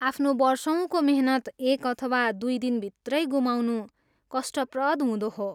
आफ्नो वर्षौँको मेहनत एक अथवा दुई दिनभित्रै गुमाउनु कष्टप्रद हुँदो हो।